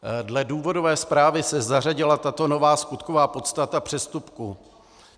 Dle důvodové zprávy se zařadila tato nová skutková podstata přestupku.